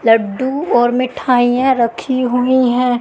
लड्डू और मिठाइयां रखी हुई हैं।